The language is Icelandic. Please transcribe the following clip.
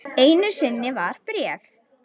Einu sinni var bréf.